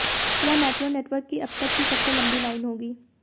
यह metro network की अब तक की सबसे लंबी लाइन होगी